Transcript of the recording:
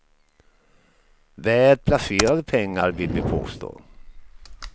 Väl placerade pengar, vill vi påstå.